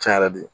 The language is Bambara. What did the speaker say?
Cɛn yɛrɛ de